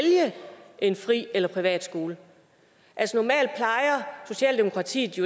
en fri eller privatskole altså socialdemokratiet